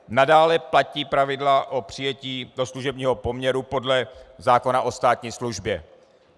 Nadále platí pravidla o přijetí do služebního poměru podle zákona o státní službě.